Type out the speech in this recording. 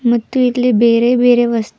ಮತ್ತು ಇಲ್ಲಿ ಬೇರೆ ಬೇರೆ ವಸ್--